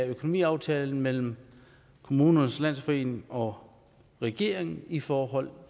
økonomiaftalen mellem kommunernes landsforening og regeringen i forhold